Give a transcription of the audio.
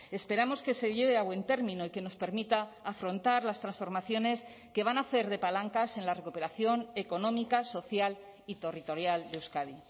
esperamos que se lleve a buen término y que nos permita afrontar las transformaciones que van a hacer de palancas en la recuperación económica social y territorial de euskadi